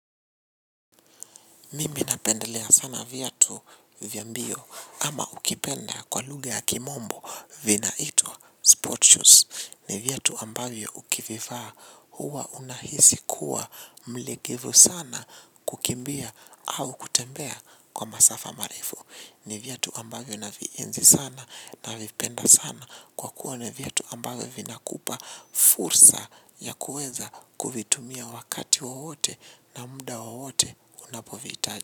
Mimi napendelea sana vyatu vya mbio ama ukipenda kwa lugha ya kimombo vinaitwa sport shoes ni vyatu ambavyo ukivivaa huwa unahisi kuwa mlegevu sana kukimbia au kutembea kwa masafa marefu ni vyatu ambavyo navienzi sana navipenda sana kwa kuwa ni vyatu ambavyo vina kupa fursa ya kueza kuvitumia wakati wowote na mda woeote unapoviitaji.